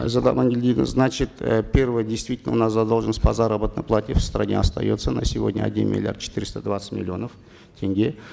айзада амангельдиевна значит э первое действительно у нас задолженность по заработной плате в стране остается на сегодня один миллиард четыреста двадцать миллионов тенге